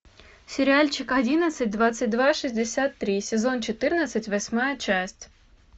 сериальчик одиннадцать двадцать два шестьдесят три сезон четырнадцать восьмая часть